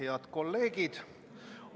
Head kolleegid!